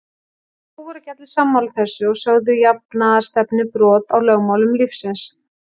Þó voru ekki allir sammála þessu og sögðu jafnaðarstefnuna brot á lögmálum lífsins.